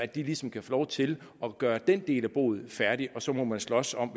de ligesom kan få lov til at gøre den del af boet færdigt så må man slås om